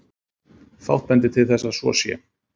Fátt bendir til þess að svo sé.